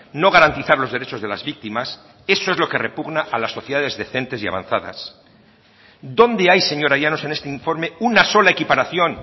no garantizar los derechos de las víctimas eso es lo que repugna a las sociedades decentes y avanzadas dónde hay señora llanos en este informe una sola equiparación